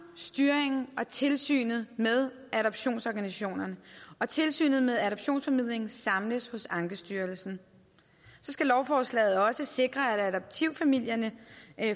styringen og tilsynet med adoptionsorganisationerne og tilsynet med adoptionsformidlingen samles hos ankestyrelsen så skal lovforslaget også sikre at adoptivfamilierne